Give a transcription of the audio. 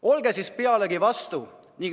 Olge siis pealegi vastu.